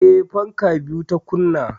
Eh, fanka biyu ta kunna